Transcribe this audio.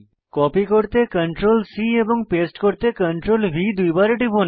copy করতে CTRL C এবং paste করতে CTRLV দুইবার টিপুন